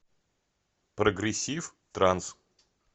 прогрессив транс